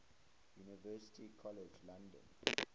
university college london